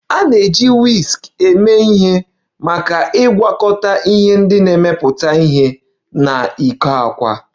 A na-eji Whisk eme ihe maka ịgwakọta ihe ndị na-emepụta ihe na ịkụ àkwá